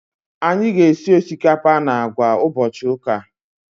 Anyị ga- esi osikapa na àgwà ụbọchị ụka.